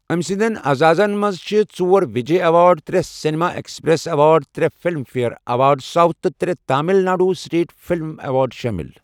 أمہِ سٕنٛدیٚن اعزازن منٛز چھِ ژور وِجے ایٚوارڈ، ترٛےٚ سیٚنِما ایٚکسپٕرٛیٚس ایٚوارڈ، ترٛےٚ فِلِم فِیَر ایٚوارڈ ساوُتھ، تہٕ ترٛےٚ Tamil Nadu state film award شٲمِل۔